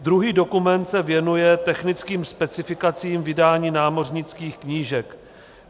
Druhý dokument se věnuje technickým specifikacím vydání námořnických knížek.